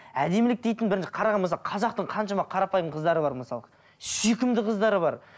әдемілік дейтін бірінші қазақтың қаншама қарапайым қыздары бар мысалы сүйкімді қыздары бар